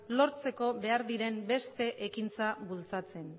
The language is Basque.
lortzeko behar diren beste ekintzak bultzatzen